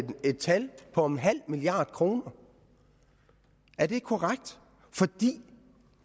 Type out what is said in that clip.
et tal på en halv milliard kroner er det ikke korrekt